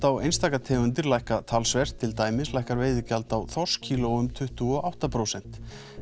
á einstaka tegundir lækka talsvert til dæmis lækkar veiðigjald á þorskkíló um tuttugu og átta prósent